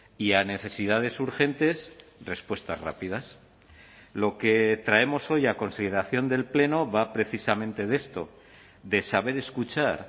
y a necesidades urgentes respuestas rápidas lo que traemos hoy a consideración del pleno va precisamente de esto de saber escuchar